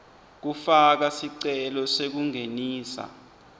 kufaka sicelo sekungenisa